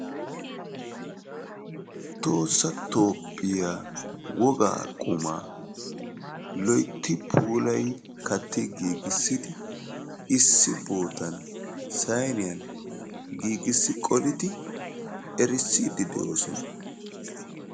Tohossa toophphiyaa wogaa qumaa loytti puulayi katti giigisidi issi bootan sayniyan giigisi qolidi erissiidi de'oosona.